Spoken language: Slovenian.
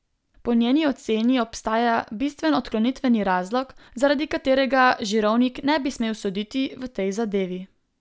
Po njeni oceni obstaja bistven odklonitveni razlog, zaradi katerega Žirovnik ne bi smel soditi v tej zadevi.